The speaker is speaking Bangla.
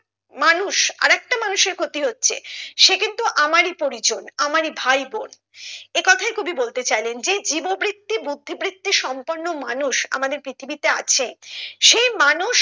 মানুষ আরেকটা মানুষের ক্ষতি হচ্ছে সে কিন্তু আমরাই পরিজন আমরাই ভাইবোন একথাই কবি বলতে চাইলেন যে জীব বৃত্তি বুদ্ধি বৃত্তি সম্পন্ন মানুষ আমাদের পৃথিবীতে আছে সেই মানুষ